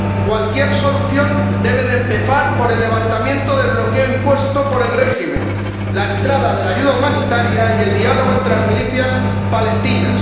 Cualquier solución debe empezar por el levantamiento del bloqueo impuesto por el régimen, la entrada de la ayuda humanitaria y el diálogo entre las milicias palestinas.